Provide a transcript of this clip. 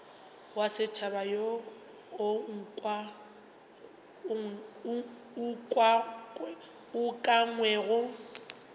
wa setšhaba wo o ukangwego